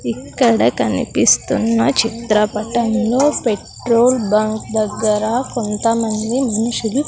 ఇక్కడ కనిపిస్తున్న చిత్రపటంలో పెట్రోల్ బంక్ దగ్గర కొంతమంది మనుషులు.